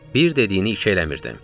Bir dediyini iki eləmirdim.